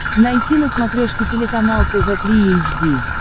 найти на смотрешке телеканал тв три эйч ди